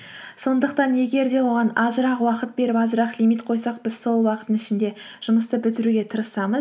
сондықтан егер де оған азырақ уақыт беріп азырақ лимит қойсақ біз сол уақыттың ішінде жұмысты бітіруге тырысамыз